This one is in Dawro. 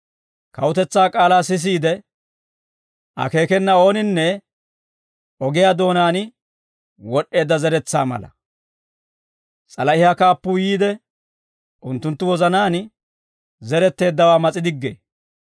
Kawutetsaa k'aalaa sisiide, akeekena ooninne ogiyaa doonaan wod'd'eedda zeretsaa mala; s'alahiyaa kaappuu yiide, unttunttu wozanaan zeretteeddawaa mas'i diggee.